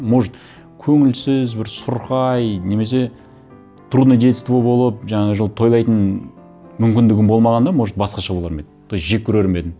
может көңілсіз бір сұрқай немесе трудное детство болып жаңа жылды тойлайтын мүмкіндігім болмағанда может басқаша болар ма еді то есть жек көрер ме едім